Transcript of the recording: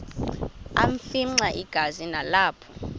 afimxa igazi nalapho